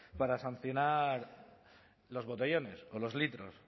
para sancionar los botellones o los litros